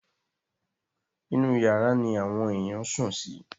Inú yàrá ni àwọn èèyàn sùn sí.